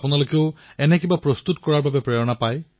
চাওক বন্ধুসকল পুতলাৰ উদ্যোগ এক বিশাল উদ্যোগ